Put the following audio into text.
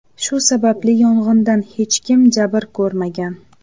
Shu sababli yong‘indan hech kim jabr ko‘rmagan.